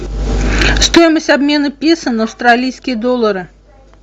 стоимость обмена песо на австралийские доллары